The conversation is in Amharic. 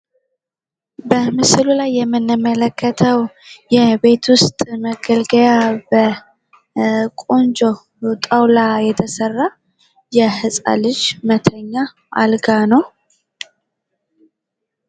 በምስሉ ላይ የምንመለከተው የቤት ውስጥ መገልገያ በቆንጆ ጣውላ የተሰራ የህጻን ልጅ መተኛ አልጋ ነው።